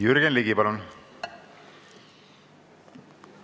Jürgen Ligi, palun!